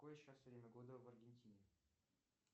какое сейчас время года в аргентине